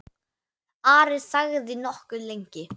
Ari þagði nokkuð lengi.